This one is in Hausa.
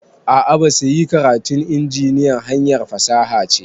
A'a basa yi, karatun injiniya hanyar fasaha ce